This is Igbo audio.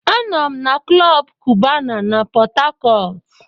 Anọ m na klọb kubana na Pot Tarcot.